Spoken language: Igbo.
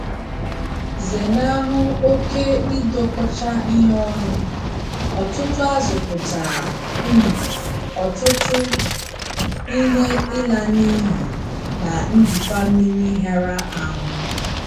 Zenahụ oke ịdọkọcha ihe ọnụ - ọtụtụ azụ̀ pụtara um ọtụtụ™ ihe ịla n’iyi na njikwa mmiri hịara ahụ.